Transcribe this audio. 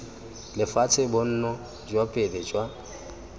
lefatshe bonno jwa pele jwa